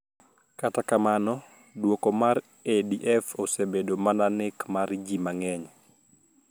Kata kamano duoko mar ADF osebedo mana nek mar ji mang`eny